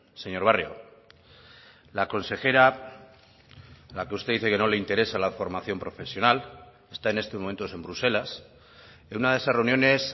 señor barrio la consejera la que usted dice que no le interesa la formación profesional está en estos momentos en bruselas en una de esas reuniones